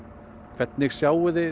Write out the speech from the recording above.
hvernig sjáið þið